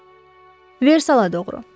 Versala doğru.